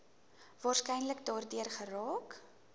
waarskynlik daardeur geraak